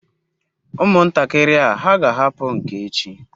Umuntakiri a ha ga ahapu nke echi?